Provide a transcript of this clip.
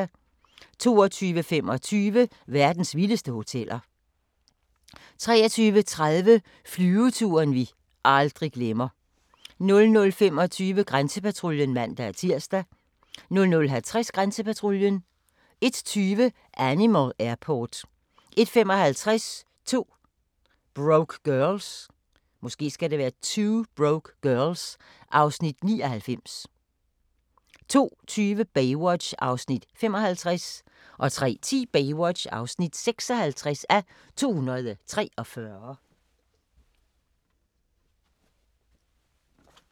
22:25: Verdens vildeste hoteller 23:30: Flyveturen vi aldrig glemmer 00:25: Grænsepatruljen (man-tir) 00:50: Grænsepatruljen 01:20: Animal Airport 01:55: 2 Broke Girls (Afs. 99) 02:20: Baywatch (55:243) 03:10: Baywatch (56:243)